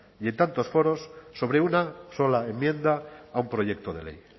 y en tantos foros sobre una sola enmienda a un proyecto de ley